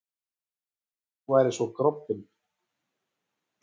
Ég hélt að þú værir svo grobbinn.